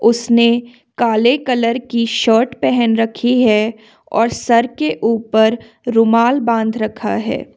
उसने काले कलर की शर्ट पहन रखी है और सर के ऊपर रुमाल बांध रखा है।